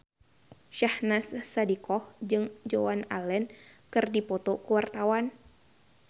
Syahnaz Sadiqah jeung Joan Allen keur dipoto ku wartawan